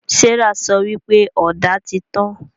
Serah sọ wípé Ọ̀dà tí tàn